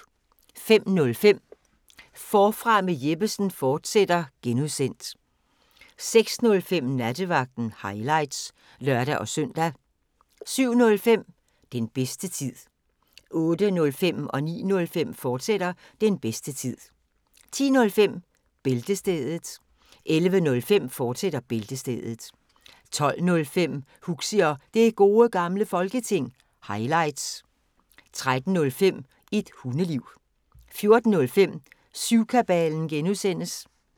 05:05: Forfra med Jeppesen fortsat (G) 06:05: Nattevagten – highlights (lør-søn) 07:05: Den bedste tid 08:05: Den bedste tid, fortsat 09:05: Den bedste tid, fortsat 10:05: Bæltestedet 11:05: Bæltestedet, fortsat 12:05: Huxi og Det Gode Gamle Folketing – highlights 13:05: Et Hundeliv 14:05: Syvkabalen (G)